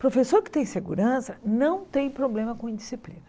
Professor que tem segurança não tem problema com indisciplina.